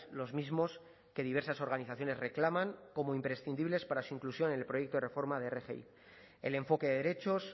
los mismos que diversas organizaciones reclaman como imprescindibles para su inclusión en el proyecto de reforma de rgi el enfoque de derechos